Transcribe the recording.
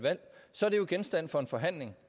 så